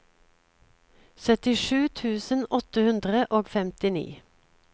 syttisju tusen åtte hundre og femtini